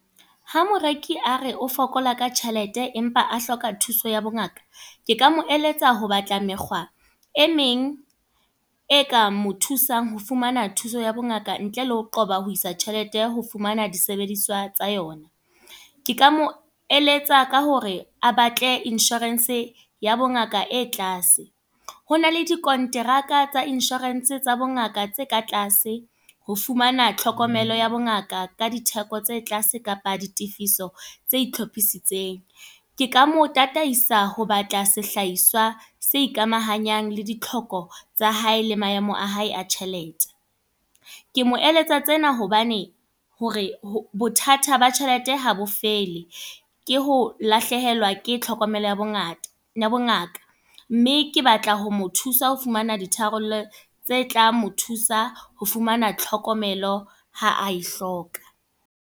Ha moreki a re o fokola ka tjhelete, empa a hloka thuso ya bongaka. Ke ka mo eletsa ho batla mekgwa, e meng e ka mo thusang ho fumana thuso ya bongaka ntle le ho qoba ho isa tjhelete ho fumana disebediswa tsa yona. Ke ka mo eletsa ka hore a batle insurance ya bo ngaka e tlase. Ho na le dikonteraka tsa insurance tsa bongaka tse ka tlase, ho fumana tlhokomelo ya bongaka ka ditheko tse tlase kapa ditifiso tse hlophisitsweng. Ke ka mo tataisa ho batla sehlahiswa se ikamahanyang le ditlhoko tsa hae le maemo a hae a tjhelete. Ke mo eletsa tsena hobane hore bothata ba tjhelete ha bo fele. Ke ho lahlehelwa ke tlhokomelo ya bongata ya bongaka. Mme ke batla ho mo thusa ho fumana di tharollo tse tla mo thusa ho fumana tlhokomelo ha a e hloka.